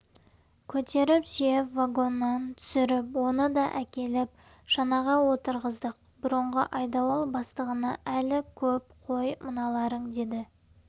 көтеріп сүйеп вагоннан түсіріп оны да әкеліп шанаға отырғыздық бұрынғы айдауыл бастығына әлі көп қой мыналарың деді